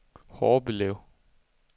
Horbelev